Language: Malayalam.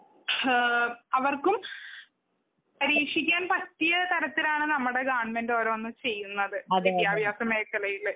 ഏഹ് അവർക്കും പരീക്ഷിക്കാൻ പറ്റിയ തരത്തിലാണ് നമ്മുടെ ഗവൺമെന്റ് ഓരോന്ന് ചെയ്യുന്നത്. വിദ്ത്യഭ്യസ മേഖലയില്